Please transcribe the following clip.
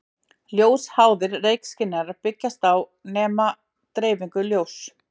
Ljósháðir reykskynjarar byggjast á að nema dreifingu ljóss.